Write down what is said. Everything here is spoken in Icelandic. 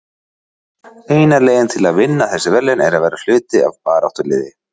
Eina leiðin til að vinna þessi verðlaun er að vera hluti af baráttuliði.